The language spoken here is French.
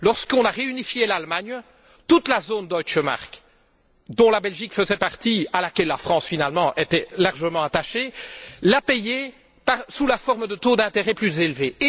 Lorsqu'on a réunifié l'Allemagne, toute la zone deutsche mark dont la Belgique faisait partie et à laquelle la France finalement était largement rattachée, l'a payé sous la forme de taux d'intérêt plus élevés.